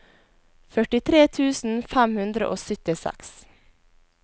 førtitre tusen fem hundre og syttiseks